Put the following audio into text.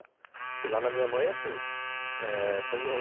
Porque lá na minha mãe é assim, é